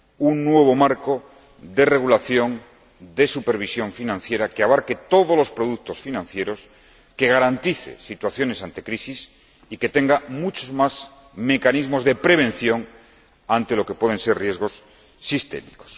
un nuevo marco de regulación, de supervisión financiera, que abarque todos los productos financieros, que garantice soluciones ante situaciones de crisis y que tenga muchos más mecanismos de prevención ante lo que pueden ser riesgos sistémicos.